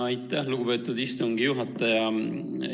Aitäh, lugupeetud istungi juhataja!